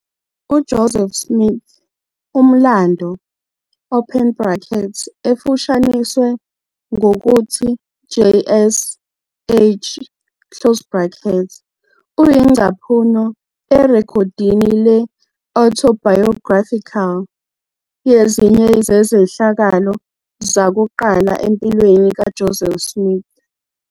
UJoseph Smith - Umlando, open brackets, efushaniswe ngokuthi JS-H, close brackets, uyingcaphuno erekhodini le-autobiographical yezinye zezehlakalo zakuqala empilweni kaJoseph Smith.